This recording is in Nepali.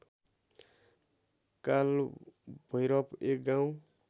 कालभैरव एक गाउँ